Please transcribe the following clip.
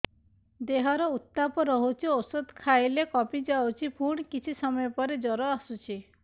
ଦେହର ଉତ୍ତାପ ରହୁଛି ଔଷଧ ଖାଇଲେ କମିଯାଉଛି ପୁଣି କିଛି ସମୟ ପରେ ଜ୍ୱର ଆସୁଛି